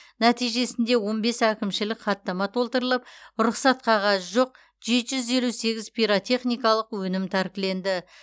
нәтижесінде он бес әкімшілік хаттама толтырылып рұқсат қағазы жоқ жеті жүз елу сегіз пиротехникалық өнім тәркіленді